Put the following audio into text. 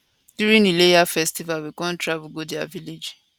during ileya festival we come travel go dia village